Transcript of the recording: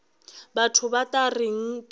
batho ba tla reng ge